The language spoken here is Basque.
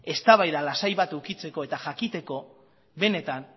eztabaida lasai bat edukitzeko eta jakiteko benetan